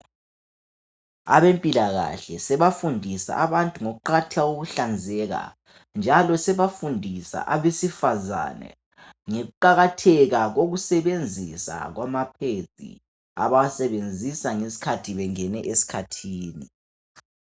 Abempilakahle sebafundisa abantu ngokuqakatheka kokuhlanzeka, njalo bebafundisa abesifazane ngokuqakatheka koku sebenzisa kwamaPads abawasebenzisa ngesikhathi bengene esikhathini.